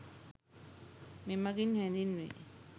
මෙමගින් හැඳින්වේ.